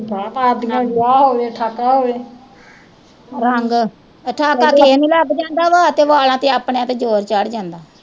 ਮਾਰਦੀਆਂ ਵਿਆਹ ਹੋਵੇ ਠਾਕਾ ਹੋਵੇ ਰੰਗ ਠਾਕਾ ਕਿਹੇ ਨੂੰ ਲੱਗ ਜਾਂਦਾ ਵਾ ਤੇ ਵਾਲ਼ਾ ਤੇ ਆਪਣਿਆਂ ਤੇ ਜ਼ੋਰ ਚੜ ਜਾਂਦਾ।